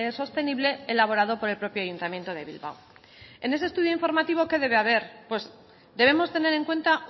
sostenible elaborado por el propio ayuntamiento de bilbao en ese estudio informativo qué debe haber pues debemos tener en cuenta